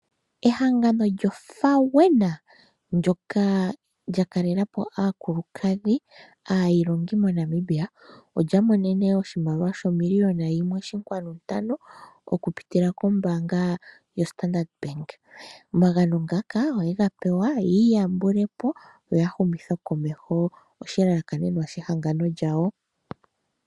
Ehangano lyo FAWENA ndoka lya kalelapo aakulukadhi aayilongi moNamibia olya monene oshimaliwa shomiliyona yimwe oshinkwanu ntano, okupitila kombaanga yo Standard Bank. Omagano ngaka oyega pewa ya iyambulepo yo ya humithe komeho oshilalakanenwa shehangano lyawo.